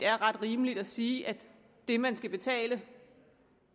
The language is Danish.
er ret rimeligt at sige at det man skal betale